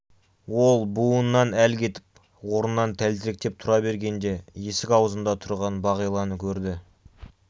ол буынынан әл кетіп орнынан тәлтіректеп тұра бергенде есік аузында тұрған бағиланы көрді